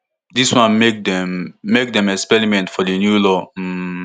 dis one make dem make dem experiment for di new law um